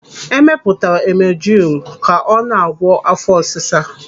Emepụtara emujilu ka ọ na-agwọ áfọ́ ọsịsa.